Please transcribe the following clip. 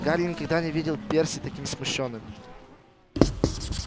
гарри никогда ещё не видел перси таким смущённым